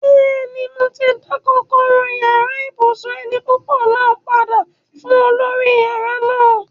Bẹ́ẹ̀ni, mo ti dá kọ́kọ́rọ́ yàrá ibùsùn eni púpọ̀ náà padà fún olórí yàrá náà